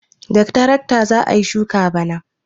Da tarakta za a yi shuka bana.